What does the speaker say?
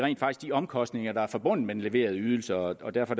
omkostninger der er forbundet med den leverede ydelse og derfor